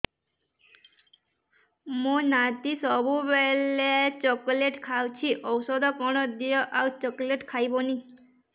ମୋ ନାତି ସବୁବେଳେ ଚକଲେଟ ଖାଉଛି ଔଷଧ କଣ ଦିଅ ଆଉ ଚକଲେଟ ଖାଇବନି